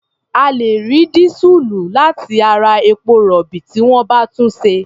A lè rí dísùlù láti ara epo-rọ̀bì tí wọ́n bá túnṣe.